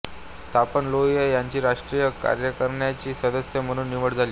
स्थापन लोहिया यांची राष्ट्रीय कार्यकारिणीचे सदस्य म्हणून निवड झाली